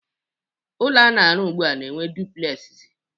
Ụlọ a na-arụ ugbua na-enwe duplegzi